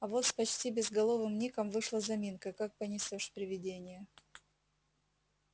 а вот с почти безголовым ником вышла заминка как понесёшь привидение